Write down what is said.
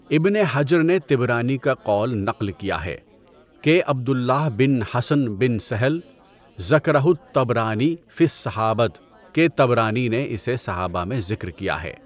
ابن حجر نے طبرانی کا قول نقل کیا ہے کہ عبد اللہ بن حصن بن سهل، "ذَكَرَہُ الطَّبْرَانِي فِي الصَّحَابًة"، کہ طبرانی نے اسے صحابہ میں ذکر کیا ہے۔